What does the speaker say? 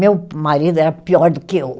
Meu marido era pior do que eu.